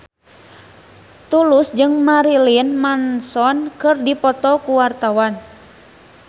Tulus jeung Marilyn Manson keur dipoto ku wartawan